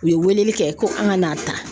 U ye weleli kɛ ko an ka n'a ta.